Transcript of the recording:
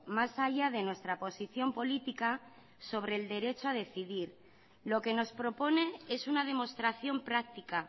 más allá de nuestra posición política sobre el derecho a decidir lo que nos propone es una demostración práctica